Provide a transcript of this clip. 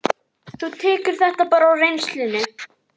Þú tekur þetta bara á reynslunni?